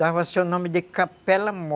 Dava-se o nome de Capela Mor